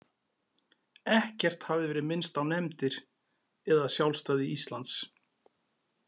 Ekkert hafði verið minnst á nefndir eða sjálfstæði Íslands.